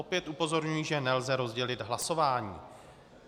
Opět upozorňuji, že nelze rozdělit hlasování.